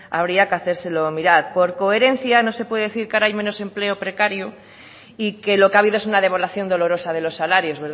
habría que hacérselo mirar por coherencia no se puede decir que ahora hay menos empleo precario y que lo que ha habido es una devaluación dolorosa de los salarios